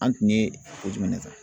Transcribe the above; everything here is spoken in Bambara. An tun ye ko jumɛn de ta.